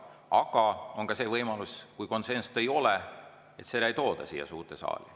Aga on ka see võimalus, et kui konsensust ei ole, siis seda ei tooda siia suurde saali.